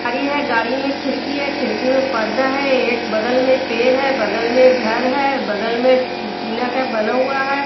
गाड़ी है गाड़ी में खिड़की है खिड़की में पर्दा है एक बगल में पेड़ है बगल मे घर है बगल में टीना का बना हुआ है।